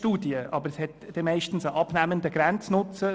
Sie haben höchstens einen abnehmenden Grenznutzen.